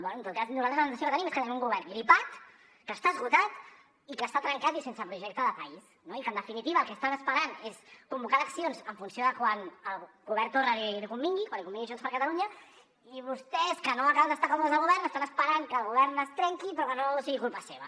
bé en tot cas nosaltres la sensació que tenim és que tenim un govern gripat que està esgotat i que està trencat i sense projecte de país no i que en definitiva el que estan esperant és convocar eleccions en funció de quan al govern torra li convingui quan li convingui a junts per catalunya i vostès que no acaben d’estar còmodes al govern estan esperant que el govern es trenqui però que no sigui culpa seva